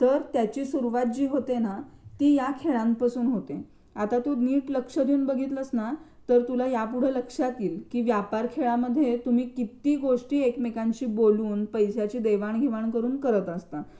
तर त्याची सुरुवात जी होते ना ती या खेळांपासून होते. आता तू नीट लक्ष देऊन बघितलंस ना तर तुला यापुढे लक्षात येईल व्यापार या खेळामध्ये तुम्ही किती गोष्टी एकमेकांशी बोलून, पैश्यांची देवाणघेवाण करून करत असता